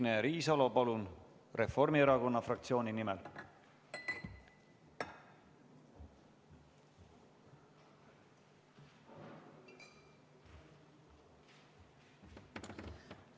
Jah, Signe Riisalo, palun, Reformierakonna fraktsiooni nimel!